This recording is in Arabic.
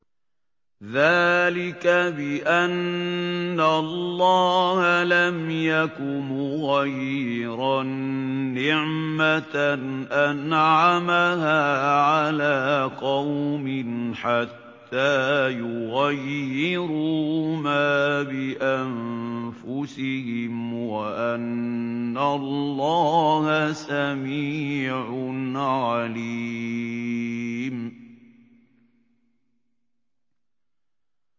ذَٰلِكَ بِأَنَّ اللَّهَ لَمْ يَكُ مُغَيِّرًا نِّعْمَةً أَنْعَمَهَا عَلَىٰ قَوْمٍ حَتَّىٰ يُغَيِّرُوا مَا بِأَنفُسِهِمْ ۙ وَأَنَّ اللَّهَ سَمِيعٌ عَلِيمٌ